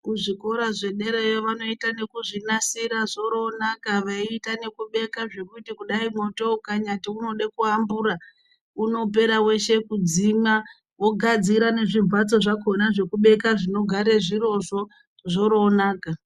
Kuzvikora zvederayo vanoita nekuzvinasira zvoroonaka veiita nekubeka zvekuti kudai mwoto ukanyati unode ku ambura unopera weshe kudzimwa vogadzira nezvi mbatso zvakona zvekubeka zvinogare zvirizvo zvoroonaka